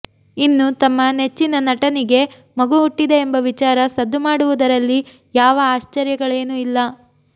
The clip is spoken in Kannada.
ಇನ್ನು ತಮ್ಮ ನೆಚ್ಚಿನ ನಟನಿಗೆ ಮಗು ಹುಟ್ಟಿದೆ ಎಂಬ ವಿಚಾರ ಸದ್ದು ಮಾಡುವುದರಲ್ಲಿ ಯಾವ ಆಶ್ಚರ್ಯಗಳೇನು ಇಲ್ಲ